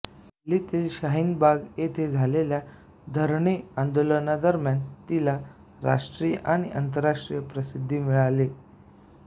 दिल्लीतील शाहीन बाग येथे झालेल्या धरणे आंदोलनादरम्यान तिला राष्ट्रीय आणि आंतरराष्ट्रीय प्रसिद्धी मिळाले